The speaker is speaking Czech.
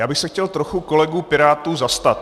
Já bych se chtěl trochu kolegů pirátů zastat.